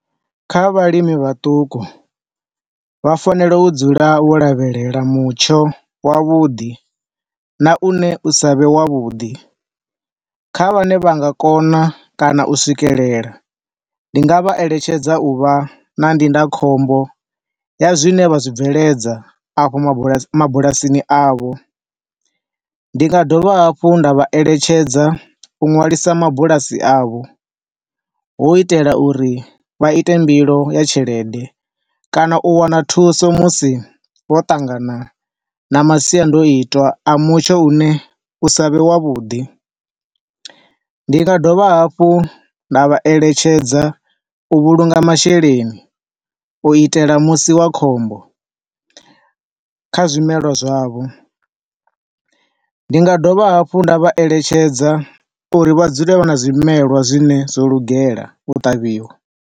Kha vhalimi vhaṱuku vha fanela u dzula vho lavhelela mutsho wa vhuḓi, na une usa vhe wa vhuḓi. Kha vhane vha nga kona kana u swikelela, ndi nga vha eletshedza u vha na ndinda khombo ya zwine vha zwi bveledza afho mabula, mabulasini avho. Ndi nga dovha hafhu nda vha eletshedza u nwalisa mabulasi avho, hu itela uri vha ite mbilo ya tshelede kana u wana thuso musi vho ṱangana na masiandoitwa a mutsho une u sa vhe wa vhuḓi. Ndi nga dovha hafhu nda vha eletshedza u vhulunga masheleni u itela musi wa khombo kha zwimelwa zwavho. Ndi nga dovha hafhu nda vha eletshedza uri vha dzule vha na zwimelwa zwine zwo lugela u ṱavhiwa.